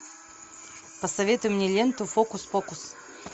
посоветуй мне ленту фокус покус